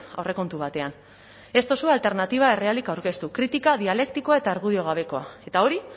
aurrekontu batean ez duzue alternatiba errealik aurkeztu kritika dialektikoa eta argudio gabekoa eta hori